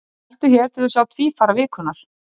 Smelltu hér til að sjá Tvífara vikunnar.